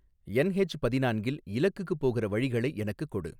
NH பதினான்கில் இலக்குக்குப் போகுற வழிகளை எனக்குக் கொடு